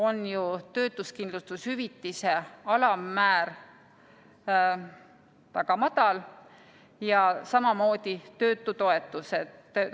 On ju töötuskindlustushüvitise alammäär väga madal ja samamoodi töötutoetused.